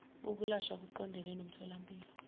ukulashwa kuqondene nomtholampilo